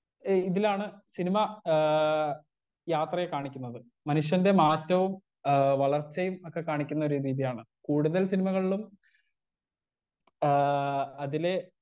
Speaker 1 ഏ ഇതിലാണ് cinema ഏ യാത്രയെ കാണിക്കുന്നത് മനുഷ്യന്റെ മാറ്റവും ആ വളർച്ചയും ഒക്കെ കാണിക്കുന്ന ഓരോ രീതിയാണ് കൂടുതൽ സിനിമകളിലും ആ അതിലെ.